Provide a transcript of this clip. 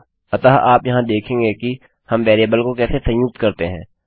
अतः आप यहाँ देखेंगे कि हम वेरिएबल को कैसे संयुक्त करते हैं